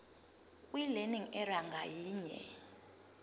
kwilearning area ngayinye